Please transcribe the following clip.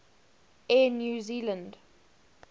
air new zealand